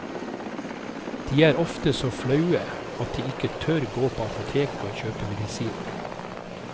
De er ofte så flaue at de ikke tør gå på apoteket og kjøpe medisin.